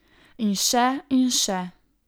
In še in še...